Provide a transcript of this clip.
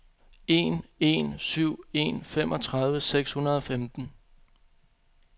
en en syv en femogtredive seks hundrede og femten